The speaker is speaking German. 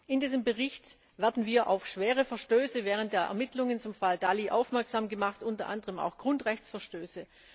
In diesem Bericht werden wir auf schwere Verstöße während der Ermittlungen zum Fall Dalli aufmerksam gemacht, unter anderem auch auf Grundrechtsverstöße.